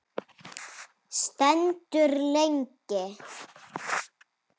Stendur lengi.